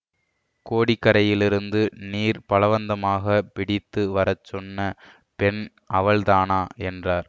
கோடிக்கரையிலிருந்து நீர் பலவந்தமாக பிடித்து வர சொன்ன பெண் அவள்தானாஎன்றார்